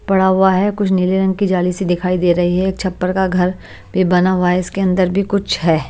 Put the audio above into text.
पड़ा हुआ है कुछ नीले रंग की जाली सी दिखाई दे रही है एक छप्पड़ का घर भी बना हुआ है इसके अंदर भी कुछ है।